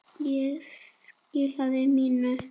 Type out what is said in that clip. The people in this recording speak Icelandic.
Ég skilaði mínu.